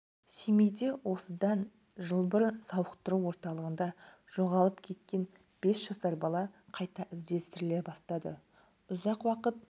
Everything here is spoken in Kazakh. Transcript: семейде осыдан жыл бұрын сауықтыру орталығында жоғалып кеткен бес жасар бала қайта іздестіріле бастады ұзақ уақыт